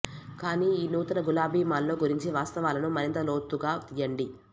కానీ ఈ నూతన గులాబీ మాల్లో గురించి వాస్తవాలను మరింత లోతుగా తీయండి